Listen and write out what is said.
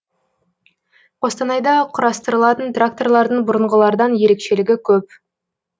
қостанайда құрастырылатын тракторлардың бұрынғылардан ерекшелігі көп